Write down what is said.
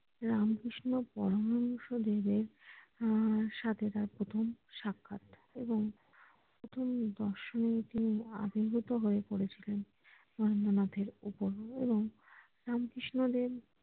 রামকৃষ্ণ পরমহংস দেবের আহ সাথে তার প্রথম সাক্ষাৎ এবং প্রথম দর্শনেই তিনি অভিভূত হয়ে পড়েছিলেন নরেন্দ্রনাথ এর উপর এবং রামকৃষ্ণ দেব